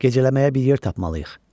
Gecələməyə bir yer tapmalıyıq.